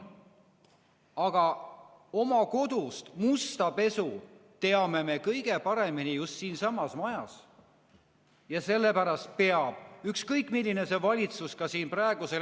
Aga oma kodust musta pesu teame me kõige paremini just siin majas.